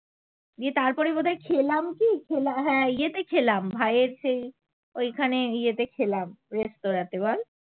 গিয়ে তারপরে বোধ হয় খেলাম কি হ্যা ইয়ে তে খেলাম ভাইয়ের সেই ঐখানে ইয়েতে খেলাম রেস্তোরাতে বল